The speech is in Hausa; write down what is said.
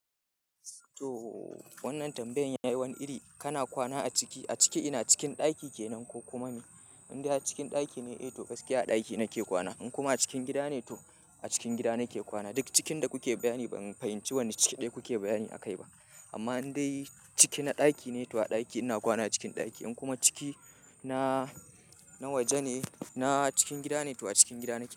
To wannan tambayan ya yi wani iri. Kana kwana a ciki, a ciki ina cikin ɗaki ke nan ko kuma me? In dai har cikin ɗaki ne eh to gaskiya a ɗaki nake kwana. In kuma a cikin gida ne to a cikin gida nake kwana. Duk cikin da kuke bayani ban fahimci wanne ciki ɗaya kuke bayani akai ba. Amma in dai ciki na ɗaki ne to a ɗaki ina kwana cikin ɗaki. In kuma ciki na, na waje ne, na cikin gida ne to a cikin gida nake kwana.